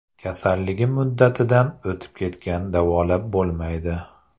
Kasalligim muddatidan o‘tib ketgan davolab bo‘lmaydi.